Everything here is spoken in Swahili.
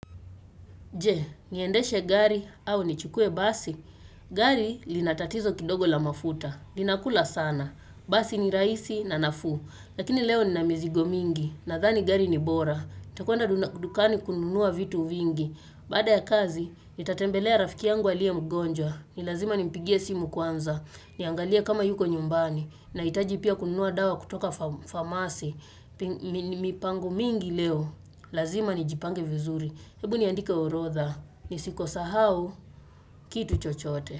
Je, niendeshe gari au nichukue basi. Gari linatatizo kidogo la mafuta. Linakula sana. Basi ni raaisi na nafu. Lakini leo ninamizigo mingi. Nathani gari ni bora. nItakwenda dukani kununua vitu vingi. Baada ya kazi, nitatembelea rafiki yangu aliyemgonjwa. Nilazima nimpigie simu kwanza. Niangalie kama yuko nyumbani. Nahitaji pia kununua dawa kutoka famasi. Mipango mingi leo. Lazima nijipange vizuri. Hebu niandike orodha ni siko sahau kitu chochote.